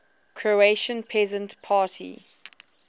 croatian peasant party